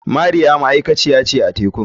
Mariya ma'aikaciya ce a tekun.